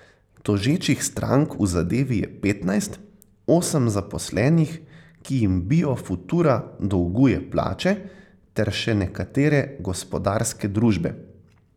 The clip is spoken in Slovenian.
Tožečih strank v zadevi je petnajst, osem zaposlenih, ki jim Bio futura dolguje plače, ter še nekatere gospodarske družbe.